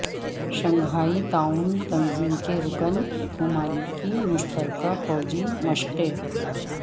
Shanghai تعاون تنظیم کے رکن ممالک کی مشترکہ فوجی مشقیں